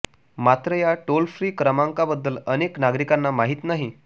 मात्र या toll free क्रमांकाबद्दल अनेक नागरिकांना माहिती नाही